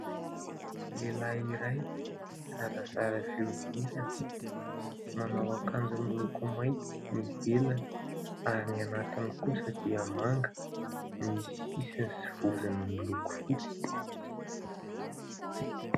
Lehilahy iray zarazara fihodirana manao akanjo miloko mainty ny ivelany ary ny anatiny kosa dia manga misy sisiny sy vozony miloko fotsy.